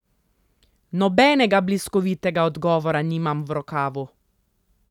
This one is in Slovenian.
Nobenega bliskovitega odgovora nimam v rokavu.